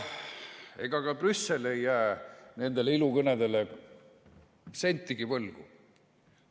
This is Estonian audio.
Ega ka Brüssel ei jää nendele ilukõnedele sentigi võlgu.